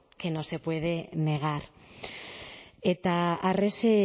que no se puede negar eta arrese